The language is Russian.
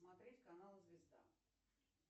смотреть канал звезда